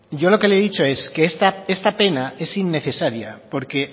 yo lo que le he dicho es que esta pena es innecesaria porque